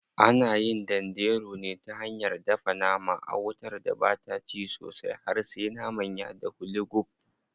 Ana yin danderu ne ta hanyar dafa nama a wutar da bata ci sosai har sai naman ya dahu lugub.